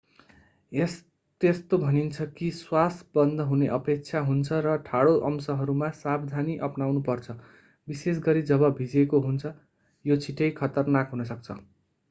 त्यस्तो भनिन्छ कि श्वास बन्द हुने अपेक्षा हुन्छ र ठाडो अंशहरूमा सावधानी अपनाउनु पर्छ विशेष गरी जब भिजेको हुन्छ यो छिट्टै खतरनाक हुन सक्छ